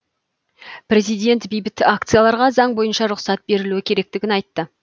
президент бейбіт акцияларға заң бойынша рұқсат берілуі керектігін айтты